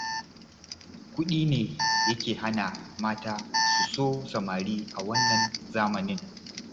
Kuɗi ne yake hana mata su so samari a wannan zamanin